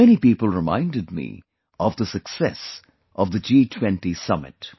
Many people reminded me of the success of the G20 Summit